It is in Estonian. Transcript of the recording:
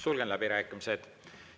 Sulgen läbirääkimised.